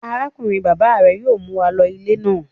Arákùnrin-bàbá rẹ yóò mú wa lọ ilé náà.